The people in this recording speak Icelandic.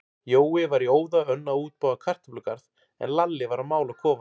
Jói var í óða önn að útbúa kartöflugarð, en Lalli var að mála kofann.